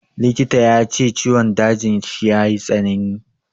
Likita ya ce ciwon dajin shi ya yi tsanani.